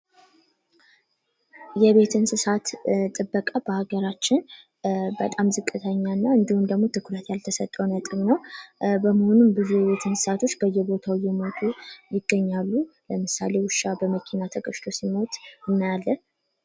የቤት እንስሳት ጥበቃ በአገራችን በጣም ዝቅተኛ እና እንዲሁም ደግሞ ትኩረት ያልተሰጠው ነጥብ ነው። በሙሉ እንስሳቶች በየቦታው እየሞቱ ይገኛሉ። ለምሳሌ ውሻ በመኪና ተገጭቶ ሲሞት እናያለን።